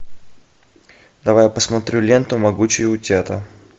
давай посмотрю ленту могучие утята